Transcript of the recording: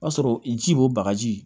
O y'a sɔrɔ ji b'o bagaji